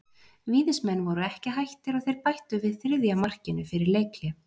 Víðismenn voru ekki hættir og þeir bættu við þriðja markinu fyrir leikhlé.